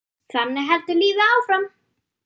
Þannig heldur lífið áfram.